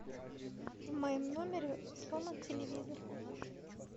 в моем номере сломан телевизор